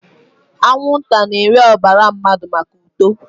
Anwụnta na-eri ọbara mmadụ maka uto